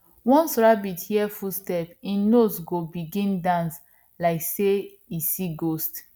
once rabbit hear footstep hin nose go begin dance like say e see ghost